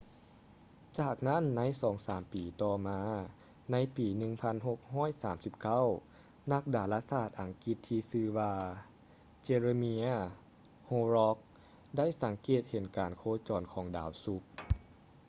ຈາກນັ້ນໃນສອງສາມປີຕໍ່ມາໃນປີ 1639 ນັກດາລາສາດອັງກິດທີ່ຊື່ວ່າ jeremiah horrocks ໄດ້ສັງເກດເຫັນການໂຄຈອນຂອງດາວສຸກ